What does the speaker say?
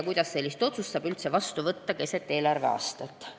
Kuidas sellist otsust saab üldse vastu võtta keset eelarveaastat?